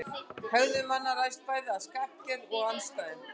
Hegðun manna ræðst bæði af skapgerð og aðstæðum.